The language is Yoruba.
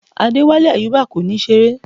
Adewale Ayuba kò ní ṣeré